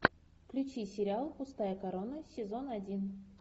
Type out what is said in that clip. включи сериал пустая корона сезон один